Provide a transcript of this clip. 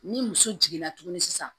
Ni muso jiginna tuguni sisan